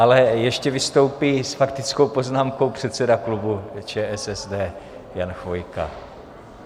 Ale ještě vystoupí s faktickou poznámkou předseda klubu ČSSD Jan Chvojka.